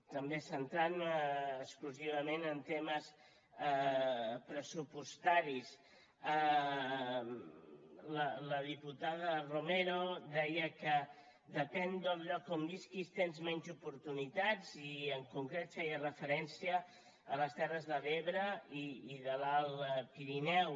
també centrant me exclusivament en temes pressupostaris la diputada romero deia que depèn del lloc on visquis tens menys oportunitats i en concret feia referència a les terres de l’ebre i l’alt pirineu